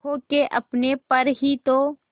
खो के अपने पर ही तो